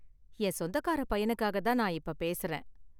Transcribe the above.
என் சொந்தக்கார பையனுக்காக தான் நான் இப்ப பேசுறேன்.